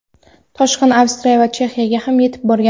toshqin Avstriya va Chexiyaga ham yetib borgan.